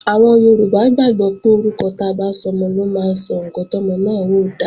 Àwọn Yorùbá gbàgbọ́ pé orúkọ ta bá sọmọ ló máa sọ ǹkan tọ́mọ náà ó dà